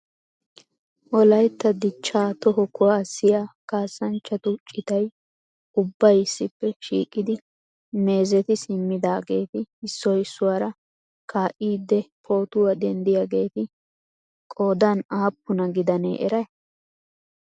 Wolaytta dichcha Toho kuwaassiya kassanchchatu citay ubbay issippe shiiqidi meezeti simmidaageeti issoy issuwaara kaa'ide pootuwaa denddiyaageti qoodan aapune gidanee eray?